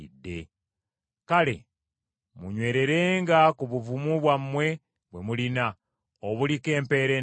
Kale munywererenga ku buvumu bwammwe bwe mulina, obuliko empeera ennene.